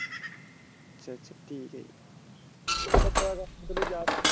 ਅੱਛਾ ਅੱਛਾ ਠੀਕ ਹੈ ਜੀ .